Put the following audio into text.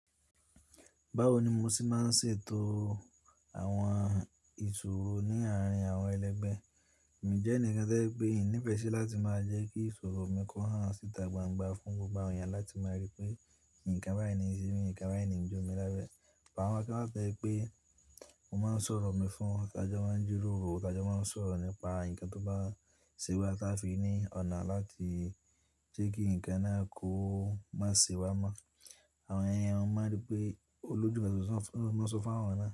Báwo ni mo ṣe máa ń ṣètò àwọn ìṣòro ní àárín àwọn ẹlẹgbẹ́? Mi jẹ́ ẹnìkan tí ẹ pé ìní ìfẹ́ ṣe láti máa jẹ́ kí ìṣòro mi kí wọ́n hán síta gbangba fún gbogbo àwọn eyàn láti máa rí pé nǹkan báyìí ni ìsinmi, nǹkan báyìí ni jọmí lábẹ́. Àwọn kan wà tójẹ́ pé mo máa ń sọ̀rọ̀ mi fún wọn tajọ máa ń jíròrò, tajọ máa ń sọ̀rọ̀ nípa ǹkan tó bá ṣewa táa fi ní ọ̀nà láti jẹ́ kí ǹkan náà kó má ṣe wá mọ́. Àwọn ìyẹn mo máa rí pé olójú nkan mo sọ fún àwọn náà.